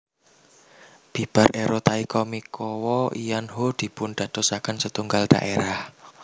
Bibar era Taika Mikawa lan Ho dipundadosaken setunggal dhaerah